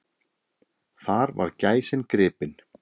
Þar var gæsin gripin.